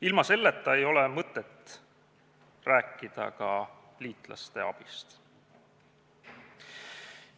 Ilma selleta ei ole mõtet rääkida ka liitlaste abist.